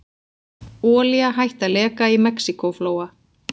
Olía hætt að leka í Mexíkóflóa